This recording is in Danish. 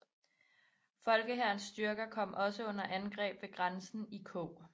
Folkehærens styrker kom også under angreb ved grænsen i Kog